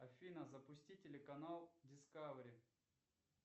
афина запусти телеканал дискавери